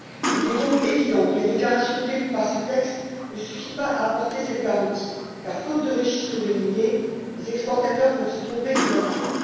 Il est donc évident que la déclaration prévue par ce texte ne suffit pas à apporter cette garantie car, faute de registre de lignées, les exportateurs peuvent se tromper de bonne foi.